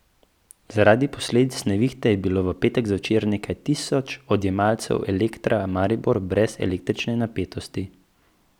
Zaradi posledic nevihte je bilo v petek zvečer nekaj tisoč odjemalcev Elektra Maribor brez električne napetosti.